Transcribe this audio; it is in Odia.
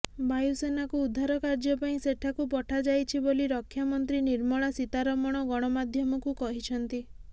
ବାୟୁ ସେନାକୁ ଉଦ୍ଧାରକାର୍ଯ୍ୟ ପାଇଁ ସେଠାକୁ ପଠାଯାଇଛି ବୋଲି ରକ୍ଷାମନ୍ତ୍ରୀ ନିର୍ମଳା ସୀତାରମଣ ଗଣମାଧ୍ୟମକୁ କହିଛନ୍ତି